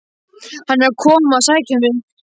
Hann er að koma að sækja mig.